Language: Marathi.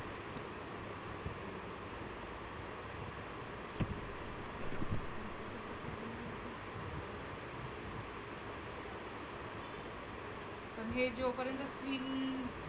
आणि हे जो पर्यंत screen